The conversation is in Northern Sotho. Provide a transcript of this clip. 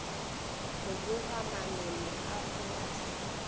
go boga manoni a polase